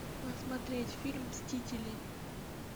посмотреть фильм мстители